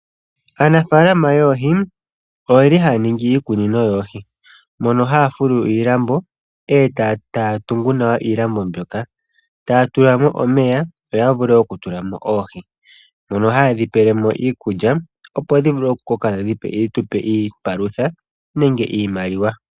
Aanafalama yoohi iyeli haya ningi iikunino yoohi mono haya fulu iilambo etaya tungu nawa iilambo mbyoka taya tula mo omeya yo ya vule okutulamo oohi mono hayedhi pelemo iikulya opo dhi vule oku koka dhi tupe iipalutha nenge iimaliwa.